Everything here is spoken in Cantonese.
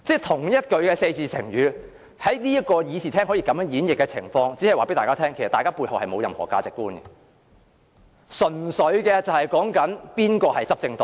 同一個四字成語在會議廳內可以如此演繹，這只是告訴大家，大家沒有任何價值觀，純粹視乎誰是執政黨。